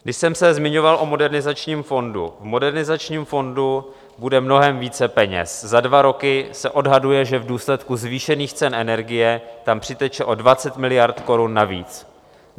Když jsem se zmiňoval o Modernizačním fondu, v Modernizačním fondu bude mnohem více peněz, za dva roky se odhaduje, že v důsledku zvýšených cen energie tam přiteče o 20 miliard korun navíc.